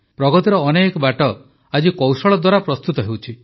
ପ୍ରଗତିର ଅନେକ ବାଟ ଆଜି କୌଶଳ ଦ୍ୱାରା ପ୍ରସ୍ତୁତ ହେଉଛି